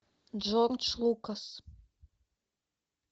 джордж лукас